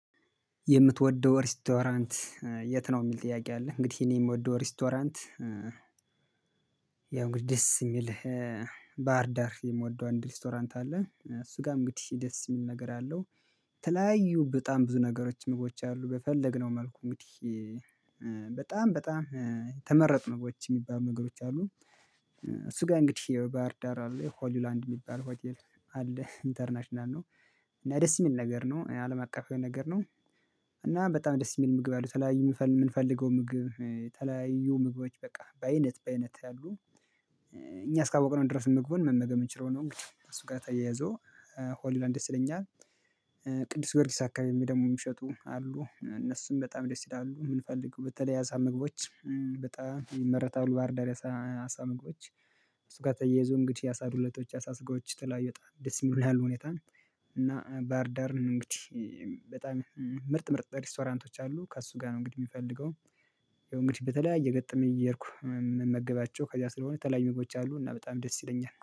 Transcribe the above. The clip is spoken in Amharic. የምትወደው ሬስቶራንት የት ነው? የሚል ጥያቄ አለ እንግዲህ እኔ የምወደው ሬስቶራንት ያው እንግዲህ ደስ የሚል ባህር ዳር የምወደው አንድ ሬስቶራንት አለ እሱ ጋር እንግዲህ ደስ የሚል ነገር አለው። የተለያዩ በጣም ብዙ ነገሮች ምግቦች አሉ በፈለግነው መልኩ እንግዲህ በጣም በጣም ተመረጥን በውጭ የሚባል ነገሮች አሉ። እሱ ጋር እንግዲህ ባህር ዳር አለ ሆሊውላንድ የሚባል ሆቴል አለ ኢንተርናሽናል ነው እና ደስ የሚል ነገር ነው አለም አቀፋዊ ነገር ነው። እና በጣም ደስ የሚል ምግብ አሉ የተለያዩ የምንፈልገው ምግብ የተለያዩ ምግቦች በቃ በአይነት በአይነት ያሉ። እኛ እስካወቅን ድረስ ምግቡን መመገብ የምንችለው ነው እንግዲህ ከእሱ ጋር ተያያዞ ሆሊላንድ ደስ ይለኛል። ቅዱስ ጎርጊስ አካባቢ ደግሞ የሚሸጡ አሉ እነሱም በጣም ደስ ይላሉ የምንፈልገው በተለይ የአሳ ምግቦች በጣም ይመረታሉ። ባህርዳር የአሳ ምግቦች እሱ ጋር ተያይዞ እንግዲህ የአሳዱለቶች የአሳስጋዎች የተለያዩ ወጣ ደስ የሚሉ ያሉ ሁኔታ። እና ባህርዳር ነው እንግዲህ በጣም ምርጥ ምርጥ ሪስቶራንቶች አሉ ከእሱ ጋር ነው እንግዲህ የሚፈልገው። እንግዲህ በተለይ እየገጠመኝ እየሄድኩ ምመገባቸው ከዚያ ስለሆነ የተለያዩ ምግቦች አሉ እና በጣም ደስ ይለኛል